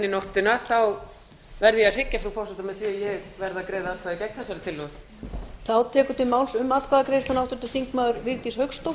nóttina verð ég að hryggja frú forseta með því að ég verð að greiða atkvæði gegn þessari tillögu